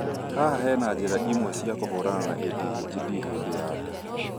haha hena njĩra imwe cia kũhũrana na ADHD hĩndĩ ya nda